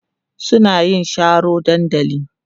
suna yin Sharo dandali